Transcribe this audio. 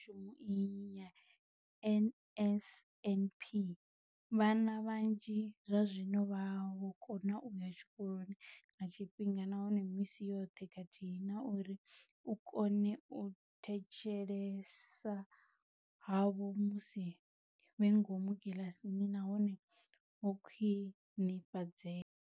Nga ṅwambo wa mbekanyamushumo iyi ya NSNP, vhana vhanzhi zwazwino vha vho kona u ya tshikoloni nga tshifhinga nahone misi yoṱhe khathihi na uri u kona u thetshelesa havho musi vhe ngomu kiḽasini na hone ho khwinifhadzea.